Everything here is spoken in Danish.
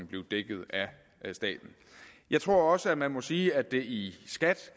blive dækket af staten jeg tror også man må sige at det i skat